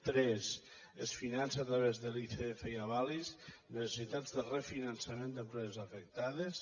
tres es finança a través de l’icf i avalis necessitats de refinançament d’empreses afectades